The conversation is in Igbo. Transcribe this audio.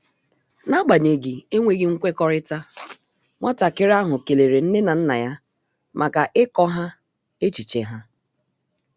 N’agbanyeghị enweghị nkwekọrịta, nwatakịrị ahụ kelere nne na nna ya maka ịkọ ha echiche ha.